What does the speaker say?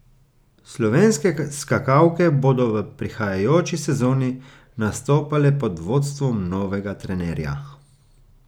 Slovenske skakalke bodo v prihajajoči sezoni nastopale pod vodstvom novega trenerja.